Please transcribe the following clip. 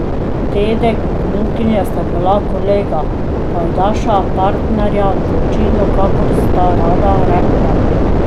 Dedek in vnukinja sta bila kolega, pajdaša, partnerja v zločinu, kakor sta rada rekla.